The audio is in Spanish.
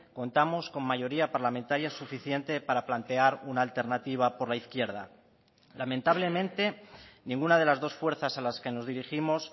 contamos con mayoría parlamentaria suficiente para plantear una alternativa por la izquierda lamentablemente ninguna de las dos fuerzas a las que nos dirigimos